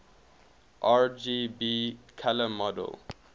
rgb color model